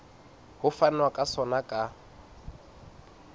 ho fanwa ka sona ka